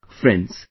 Friends,